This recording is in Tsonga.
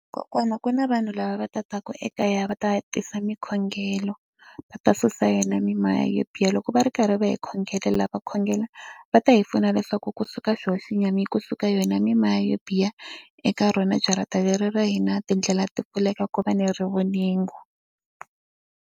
Kokwana ku na vanhu lava va tatiwaku ekaya va ta tisa swikhongelo, va ta susa yona mimoya yo biha. Loko va ri karhi va hi khongela la va khongela va ta hi pfuna leswaku kusuka xona xi nyama, kusuka yona mimoya yo biha eka rona jarata leri ra hina. Tindlela ti pfuleka, ku va ni rivoningo.